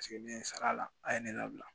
ne ye n sara la a ye ne labila